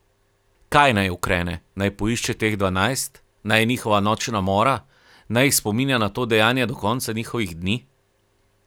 Kaj naj ukrene, naj poišče teh dvanajst, naj je njihova nočna mora, naj jih spominja na to dejanje do konca njihovih dni?